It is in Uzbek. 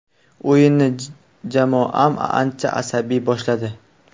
O‘yinni jamoam ancha asabiy boshladi.